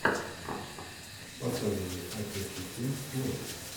показывай отец и сын плэйс